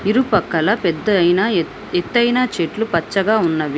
ఇరుపక్కల పెద్ద అయిన ఎత్_ఎత్తయిన చెట్లు పచ్చగా ఉన్నవి.